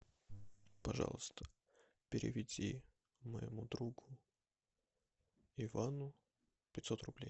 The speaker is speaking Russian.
пожалуйста переведи моему другу ивану пятьсот рублей